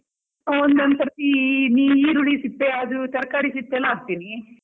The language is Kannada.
ಒಂದೊಂದು ಸರ್ತಿ ಈ ಈರುಳ್ಳಿ ಸಿಪ್ಪೆ ಅದು ತರ್ಕಾರಿ ಸಿಪ್ಪೆ ಎಲ್ಲ ಹಾಕ್ತಿನಿ.